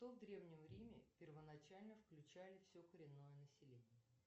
кто в древнем риме первоначально включали все коренное население